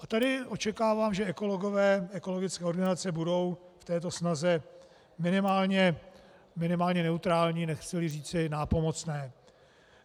A tady očekávám, že ekologové, ekologické organizace budou v této snaze minimálně neutrální, nechci-li říci nápomocné.